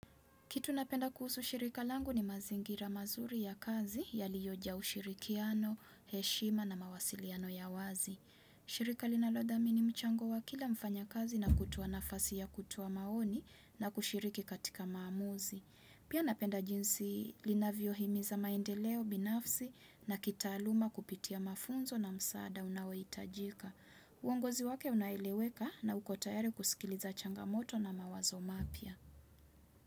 Kitu napenda kuhusu shirika langu ni mazingira mazuri ya kazi yaliyoja ushirikiano, heshima na mawasiliano ya wazi. Shirika linalodhamini mchango wa kila mfanya kazi na kutoa nafasi ya kutoa maoni na kushiriki katika maamuzi. Pia napenda jinsi linavyohimiza maendeleo binafsi na kitaaluma kupitia mafunzo na msaada unaohitajika. Uongozi wake unaeleweka na ukotayari kusikiliza changamoto na mawazo mapia.